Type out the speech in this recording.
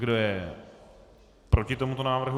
Kdo je proti tomuto návrhu?